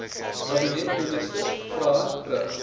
kabinetministers vrae rig